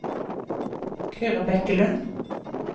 Kyrre Bekkelund